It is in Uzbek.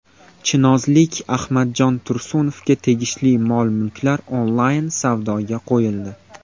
Chinozlik Ahmadjon Tursunovga tegishli mol-mulklar onlayn savdoga qo‘yildi.